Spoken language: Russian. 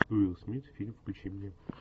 уилл смит фильм включи мне